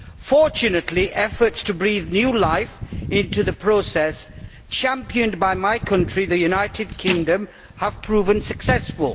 Fortunately, efforts to breathe new life into the process, championed by my country, the United Kingdom, have proven successful.